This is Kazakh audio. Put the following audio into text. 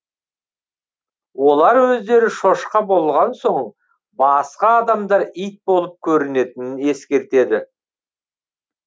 олар өздері шошқа болған соң басқа адамдар ит болып көрінетінін ескертеді